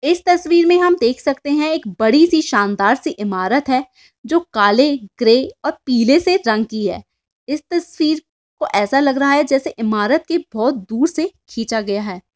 इस तस्वीर में हम देख सकते है। एक बड़ी सी शानदार सी ईमार है। जो काले ग्रे और पिले से रंग की है। इस तस्वीर ये सा लग रहा है। जैसे ईमारत को बहुत सुर से खींचा गया है।